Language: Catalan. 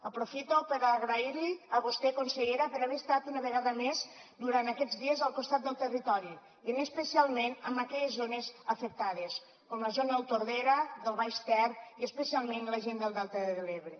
aprofito per donar li les gràcies a vostè consellera per haver estat una vegada més durant aquests dies al costat del territori i especialment amb aquelles zones afectades com la zona del tordera del baix ter i especialment la gent del delta de l’ebre